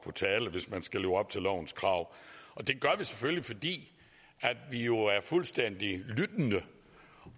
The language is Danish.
tale hvis man skal leve op til lovens krav det gør vi selvfølgelig fordi vi jo er fuldstændig lyttende